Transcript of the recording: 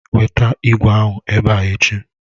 Weta ìgwè ahụ ebe a echi!